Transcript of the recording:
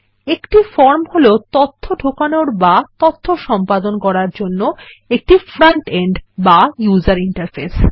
একটি ফর্ম হল তথ্য ঢোকানোর বা তথ্য সম্পাদনা করার জন্য একটি ফ্রন্ট এন্ড বা ইউজার ইন্টারফেস